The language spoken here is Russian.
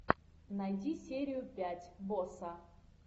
найди серию пять босса